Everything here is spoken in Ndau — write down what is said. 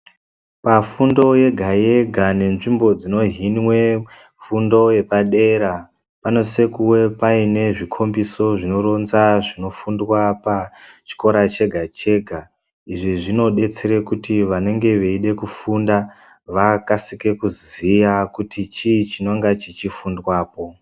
Pafundo yega yega nenzvimbo dzinohinwa fundo yepadera panosisa kunge pane zvikombisa pezvinofundiswa pachikora chega chega izvi zvinodetsera kuti vanenge veida kufunda vakasike kuziya kuti chii chinenge chichifundwapo.